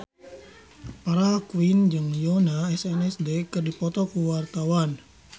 Farah Quinn jeung Yoona SNSD keur dipoto ku wartawan